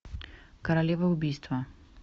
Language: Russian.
королева убийства